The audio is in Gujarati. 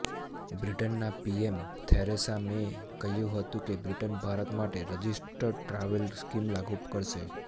બ્રિટનના પીએમ થેરેસા મેએ કહ્યું હતું કે બ્રિટન ભારત માટે રજિસ્ટર્ડ ટ્રાવેલર સ્કિમ લાગુ કરશે